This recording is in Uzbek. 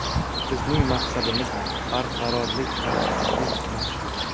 Bizning maqsadimiz barqarorlik, tartibsizlik emas.